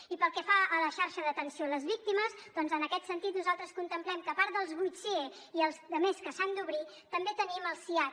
i pel que fa a la xarxa d’atenció a les víctimes doncs en aquest sentit nosaltres contemplem que a part dels vuit sie i els altres que s’han d’obrir també tenim el siads